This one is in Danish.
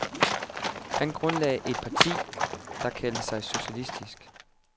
Han grundlagde et parti, der kaldte sig socialistisk.